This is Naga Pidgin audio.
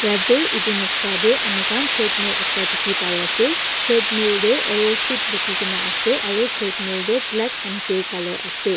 yatae edu noksa tae amikhan treadmill ekta dikhipaiase treadmill tae arrowfit likhikaena ase aru treadmill toh black and grey colour ase.